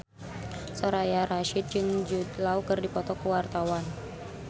Soraya Rasyid jeung Jude Law keur dipoto ku wartawan